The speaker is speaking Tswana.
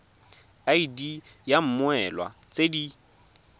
id ya mmoelwa tse di